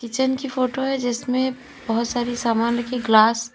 kitchen की photo है जिसमें बहुत सारी सामान रखी है ग्लास --